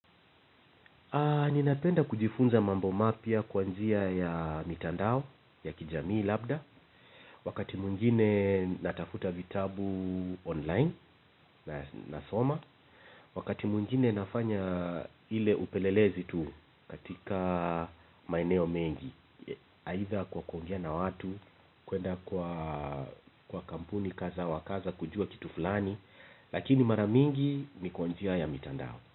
Ninapenda kujifunza mambo mapya kwa njia ya mitandao ya kijamii labda. Wakati mungine natafuta vitabu online na soma. Wakati mwingine nafanya ile upelelezi tu katika maeneo mengi. Aitha kwa kuongea na watu, kwenda kwa kampuni, kaza, wa kaza, kujua kitu fulani. Lakini mara mingi ni kwa njia ya mitandao.